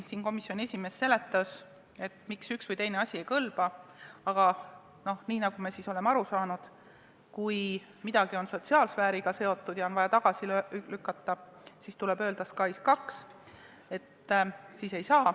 Siin komisjoni esimees seletas, miks üks või teine asi ei kõlba, aga nagu me oleme aru saanud, kui midagi on sotsiaalsfääriga seotud ja on vaja tagasi lükata, siis tuleb öelda SKAIS2 ja siis ei saa.